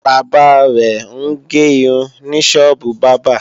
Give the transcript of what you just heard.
Bàbá rẹ̀ ń ge irun ní sọ́ọ́bù bábà